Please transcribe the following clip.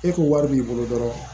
E kun wari b'i bolo dɔrɔn